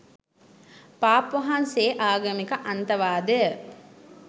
පාප් වහන්සේ ආගමික අන්තවාදය